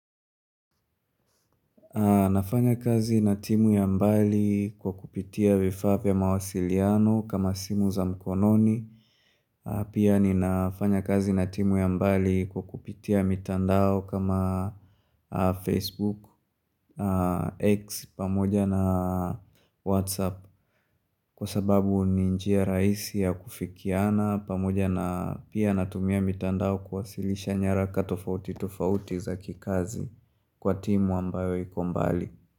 Nafanya kazi na timu ya mbali kwa kupitia vifaa vya mawasiliano kama simu za mkononi pia ninafanya kazi na timu ya mbali kwa kupitia mitandao kama Facebook X pamoja na WhatsApp kwa sababu ni njia raisi ya kufikiana pamoja na pia natumia mitandao kuwasilisha nyaraka tofauti tofauti za kikazi kwa timu ambayo iko mbali.